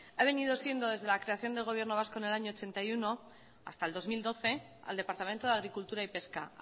ha venido siendo desde la creación del gobierno vasco en el año mil novecientos ochenta y uno hasta el dos mil doce el departamento de agricultura y pesca